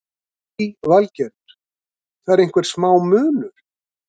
Lillý Valgerður: Það er einhver smá munur?